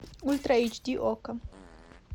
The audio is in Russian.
ультра айч ди окко